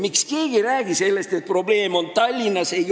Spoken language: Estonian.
Miks keegi ei räägi sellest, et probleem on Tallinnas?